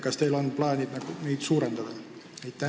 Kas teil on plaanis neid suurendada?